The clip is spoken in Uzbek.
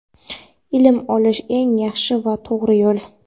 Ilm olish eng yaxshi va to‘g‘ri yo‘l.